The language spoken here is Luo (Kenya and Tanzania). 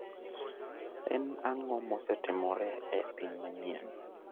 En ang'o mosetimore e piny manyien?